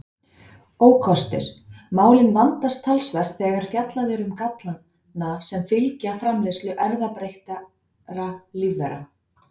Ókostir Málin vandast talsvert þegar fjallað er um gallana sem fylgja framleiðslu erfðabreyttra lífvera.